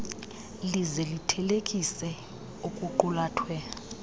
lize lithelekise okuqulathwe